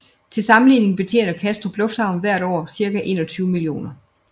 Til sammenligning betjener Kastrup lufthavn hvert år cirka 21 millioner